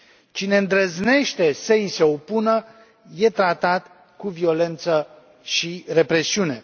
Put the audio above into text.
Cine îndrăznește să i se opună este tratat cu violență și represiune.